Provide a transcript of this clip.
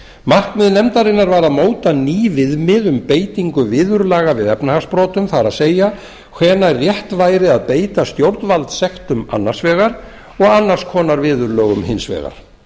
markmið nefndarinnar var að móta ný viðmið um beitingu viðurlaga við efnahagsbrotum það er hvenær rétt væri að beita stjórnvald sektum annars vegar og annars konar viðurlögum hins vegar